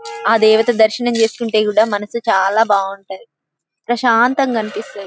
ఆ దేవత దర్శనం చేసుకుంటే కూడా మనసు చాలా బాగుంటది. ప్రశాంతంగా అనిపిస్తది.